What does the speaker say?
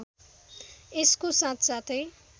यसको साथसाथै